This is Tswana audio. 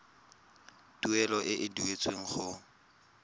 tuelo e e duetsweng go